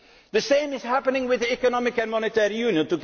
clause. The same is happening with economic and monetary